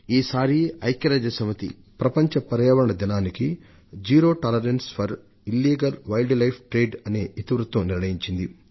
ఈ సారి ఐక్య రాజ్య సమితి ప్రపంచ పర్యావరణ దినోత్సవానికి zero tolerance for illegal wildlife trade అనే అంశాన్ని ఇతివృత్తంగా నిర్ణయించింది